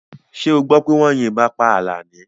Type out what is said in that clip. Ṣé ọ gbọ́ pé wọ́n yín ìbọn pá Àlàní?